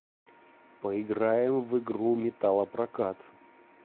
поиграем в игру металлопрокат